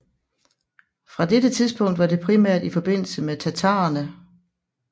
Fra dette tidspunkt var det primært i forbindelse med tatarerne